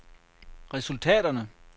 resultaterne